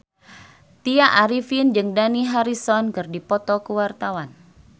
Tya Arifin jeung Dani Harrison keur dipoto ku wartawan